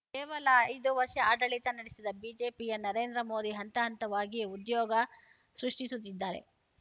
ಕೇವಲ ಐದು ವರ್ಷ ಆಡಳಿತ ನಡೆಸಿದ ಬಿಜೆಪಿಯ ನರೇಂದ್ರ ಮೋದಿ ಹಂತ ಹಂತವಾಗಿ ಉದ್ಯೋಗ ಸೃಷ್ಟಿಸುತ್ತಿದ್ದಾರೆ